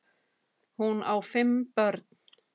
Hún á fimm börn.